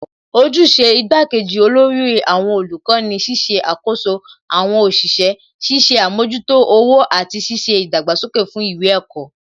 Ojúṣe igbá kejì olórí àwọn olùkọ́ ni ṣíṣe àkoso àwọn òṣìṣẹ́, ṣiṣẹ́ àmójútó owó àti ṣíṣe ìdàgbàsókè fún ìwé ẹ̀kọ́